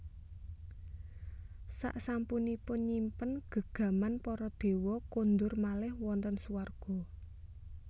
Saksampunipun nyimpen gegaman para dewa kondur malih wonten suwarga